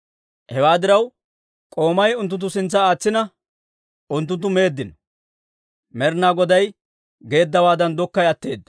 Hewaa diraw, k'oomay unttunttu sintsa aatsina, unttunttu meeddino. Med'ina Goday geeddawaadan, dokkay atteedda.